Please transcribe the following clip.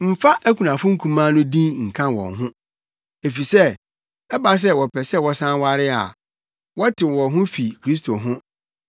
Mfa akunafo nkumaa no din nka wɔn ho. Efisɛ sɛ ɛba sɛ wɔpɛ sɛ wɔsan ware a, wɔtew wɔn ho fi Kristo ho